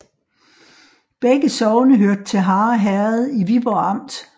Begge sogne hørte til Harre Herred i Viborg Amt